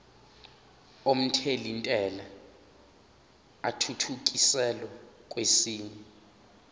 omthelintela athuthukiselwa kwesinye